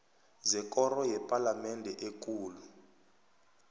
zekoro yepalamende ekulu